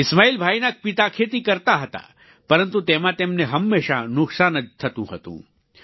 ઈસ્માઈલભાઈના પિતા ખેતી કરતા હતા પરંતુ તેમાં તેમને હંમેશા નુકસાન જ થતું હતું